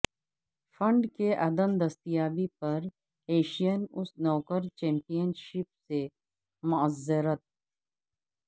fund کی عدم دستیابی پر ایشین اسنوکر چیمپیئن شپ سے معذرت